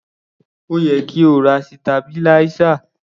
Ó yẹ kí o ra sitabiláísà.